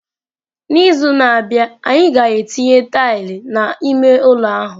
N'izu na-abịa, anyị ga-etinye tile n'ime ụlọ ahụ.